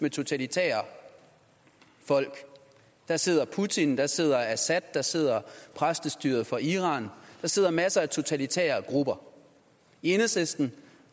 af totalitære folk der sidder putin der sidder assad der sidder præstestyret fra iran der sidder masser af totalitære grupper i enhedslisten